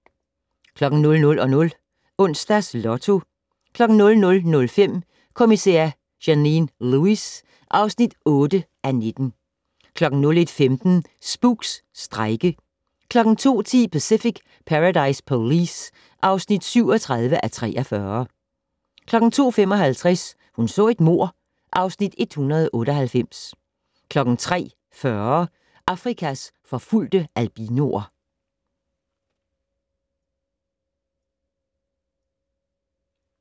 00:00: Onsdags Lotto 00:05: Kommissær Janine Lewis (8:19) 01:15: Spooks: Strejke 02:10: Pacific Paradise Police (37:43) 02:55: Hun så et mord (Afs. 198) 03:40: Afrikas forfulgte albinoer